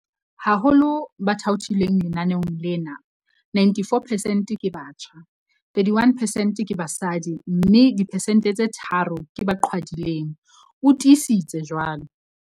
Ho ba thaothilweng lenaneong lena, 94 percent ke batjha, 31 percent ke basadi mme diphesente tse tharo ke ba qhwadileng, o tiisitse jwalo.